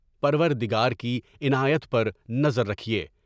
پروردگار کی عنایت پر نظر رکھیے۔